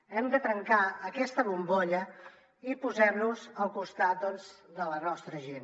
hem de trencar aquesta bombolla i posar nos al costat de la nostra gent